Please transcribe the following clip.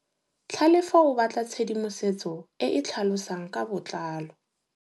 Tlhalefô o batla tshedimosetsô e e tlhalosang ka botlalô.